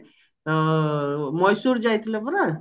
ହଁ ମଏଶ୍ଵର ଯାଇଥିଲା ପରା